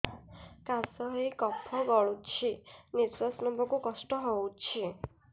କାଶ ହେଇ କଫ ଗଳୁଛି ନିଶ୍ୱାସ ନେବାକୁ କଷ୍ଟ ହଉଛି